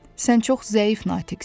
Sən çox zəif natiqsən.